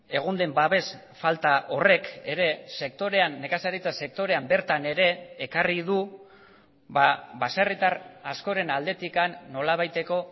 egon den babes falta horrek ere sektorean nekazaritza sektorean bertan ere ekarri du baserritar askoren aldetik nolabaiteko